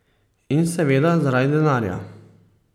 In seveda zaradi denarja.